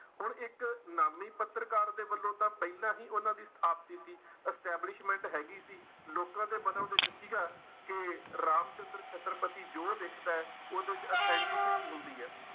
ਹੁਣ ਇੱਕ ਨਾਮੀ ਪੱਤਰਕਾਰ ਦੇ ਵੱਲੋਂ ਤਾਂ ਪਹਿਲਾਂ ਹੀ ਉਹਨਾਂ ਦੀ ਸਥਾਪਤੀ ਸੀ establishment ਹੈਗੀ ਸੀ ਲੋਕਾਂ ਦੇ ਮਨਾਂ ਵਿੱਚ ਸੀਗਾ ਕਿ ਰਾਮ ਚੰਦਰ ਛਤਰਪਤੀ ਜੋ ਲਿਖਦਾ ਹੈ ਉਹਦੇ ਚ authenticity ਹੁੰਦੀ ਹੈ।